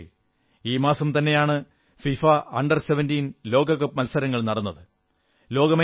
സുഹൃത്തുക്കളേ ഈ മാസം തന്നെയാണ് ഫിഫാ അണ്ടർ 17 ലോക കപ്പ് മത്സരങ്ങൾ നടന്നത്